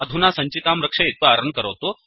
अधुना सञ्चिकां रक्षयित्वा रन् करोतु